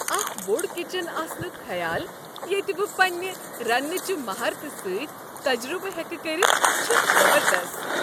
اکھ بوٚڑ کچن آسنک خیال ییٚتہ بہ پنٛنہ رنٛنہٕ چہ مہارتہ سۭتۍ تجربہٕ ہٮ۪کہٕ کٔرتھ چھُ زبردست۔